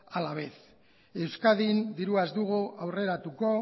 a la vez euskadin dirua ez dugu aurreratuko